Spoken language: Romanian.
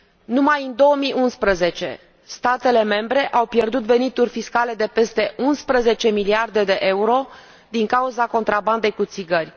Numai în 2011, statele membre au pierdut venituri fiscale de peste 11 miliarde de euro din cauza contrabandei cu țigări.